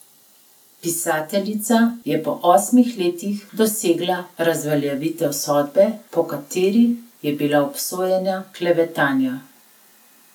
Pisateljica je po osmih letih dosegla razveljavitev sodbe, po kateri je bila obsojena klevetanja.